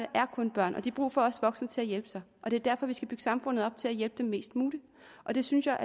er kun børn og de har brug for os voksne til at hjælpe sig det er derfor vi skal bygge samfundet op til at hjælpe dem mest muligt og det synes jeg